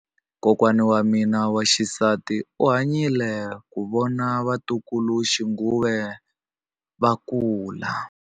Kokwa wa mina wa xisati u hanyile ku vona vatukuluxinghuwe va kula.